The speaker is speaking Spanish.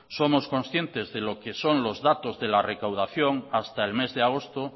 somos concientes de lo que son los datos de la recaudación hasta el mes de agosto